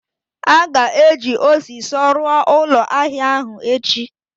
a ga-eji osiso ruo ulo ahia ahu echi